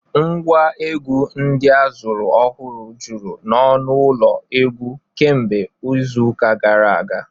Ngwa egwu ndị a zụrụ ọhụrụ juru n'ọnụ ụlọ egwu kemgbe izu ụka gara aga